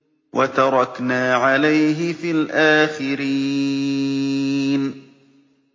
وَتَرَكْنَا عَلَيْهِ فِي الْآخِرِينَ